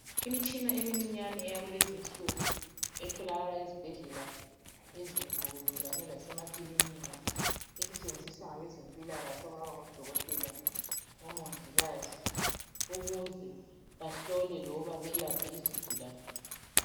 Imitshina emincinyane eyakulezi nsuku etholakala ezibhedlela ezinkulu kanye lasemakilinika, esetshenziswa ngabe zempilakahle okungaba ngodokotela kumbe omongikazi ukuze bahlole loba belaphe izigulane.